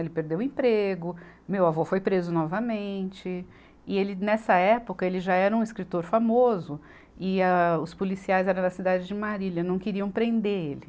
Ele perdeu o emprego, meu avô foi preso novamente e ele, nessa época, ele já era um escritor famoso e âh, os policiais eram da cidade de Marília, não queriam prender ele.